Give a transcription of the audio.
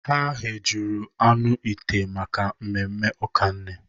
Ha ghejuru anụ ite maka mmemme ụka nne.